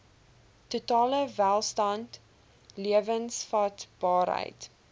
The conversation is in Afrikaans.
totale welstand lewensvatbaarheid